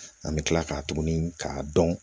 An bɛ tila k'a tuguni k'a dɔn